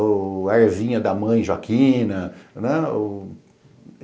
Ou a ervinha da mãe Joaquina, né?